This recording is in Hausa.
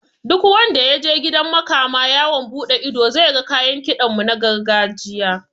Duk wanda yaje gidan makama yawon buɗe ido zai ga kayan kiɗan mu na gargajiya